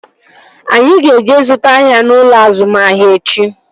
Anyị ga-eje zụta ahịa n'ụlọ azụmahịa echi